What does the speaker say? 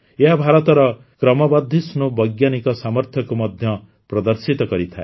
ଏହା ଭାରତର କ୍ରମବର୍ଦ୍ଧିଷ୍ଣୁ ବୈଜ୍ଞାନିକ ସାମର୍ଥ୍ୟକୁ ମଧ୍ୟ ପ୍ରଦର୍ଶିତ କରିଥାଏ